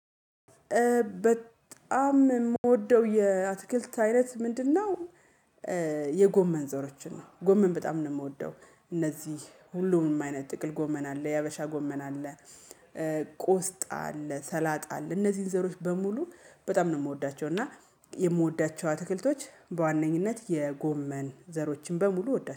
በጣም የምወደው የአትክልት አይነት ምንድነው? የጎመን ዘሮችን ነው ጎመን በጣም ነው የምወደው እነዚህ ሁሉንም አይነት ጥቅል ጎመን አለ የሀበሻ ጎመን አለ። ቆስጣ አለ ሰላጣ አለ እነዚህን ዘሮች በሙሉ በጣም ነው የምወዳቸው። እና የምወዳቸው አትክልቶች በዋነኝነት የጎመን ዘሮችን በሙሉ እወዳቸ